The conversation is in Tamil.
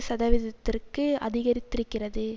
சதவீதத்திற்கு அதிகரித்திருக்கிறது